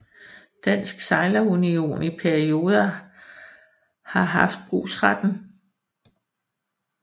Dansk Sejlerunion i perioder har haft brugsretten